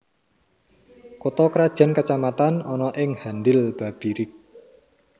Kutha krajan kacamatan ana ing Handil Babirik